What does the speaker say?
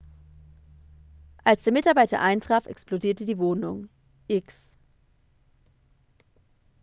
als der mitarbeiter eintraf explodierte die wohnung.x